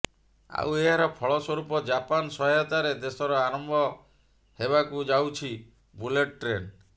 ଆଉ ଏହାର ଫଳସ୍ୱରୂପ ଜାପାନ ସହାୟତାରେ ଦେଶର ଆରମ୍ଭ ହେବାକୁ ଯାଉଛି ବୁଲେଟ୍ ଟ୍ରେନ୍